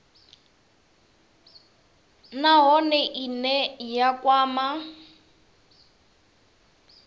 nha nahone ine ya kwama